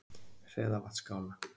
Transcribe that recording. Hreðavatnsskála